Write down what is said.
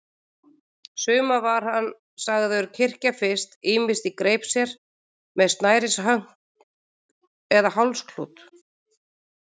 Suma var hann sagður kyrkja fyrst, ýmist í greip sér, með snærishönk eða með hálsklút.